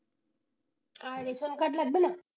আর ration card লাগবেনা?